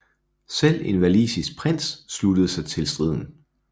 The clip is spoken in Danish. Selv en walisisk prins sluttede sig til striden